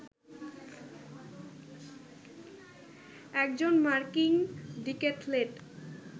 একজন মার্কিন ডিক্যাথলেট